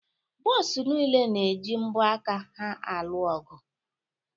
Buusu niile na-eji mbo aka ha alụ ọgụ.